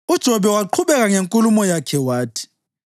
UJobe waqhubeka ngenkulumo yakhe wathi: